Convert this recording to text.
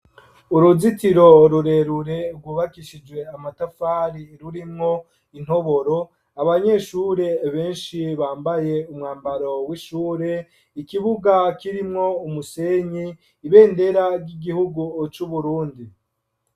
Uruzitiro rurerure rwubakishijwe amatafari rurimwo intoboro abanyeshure benshi bambaye umwambaro w'ishure ikibuga kirimwo umusenyi , ibendera ry'igihugu c'uburundi.